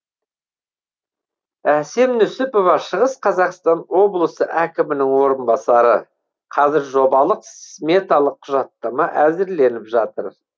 әсем нүсіпова шығыс қазақстан облысы әкімінің орынбасары қазір жобалық сметалық құжаттама әзірленіп жатыр